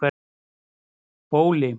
Bóli